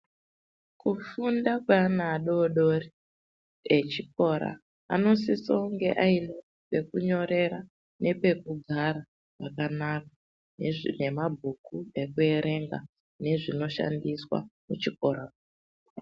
Ku funda kwe ana adodori e chikora anosise kunge aine peku nyorera nepeku gara pakanaka nezve mabhuku eku erenga nge zvino shandiswa kuchikora.